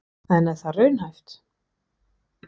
En er það raunhæft?